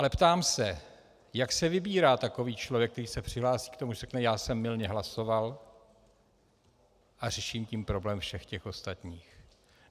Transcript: Ale ptám se, jak se vybírá takový člověk, který se přihlásí k tomu, že řekne "já jsem mylně hlasoval", a řeší tím problém všech těch ostatních.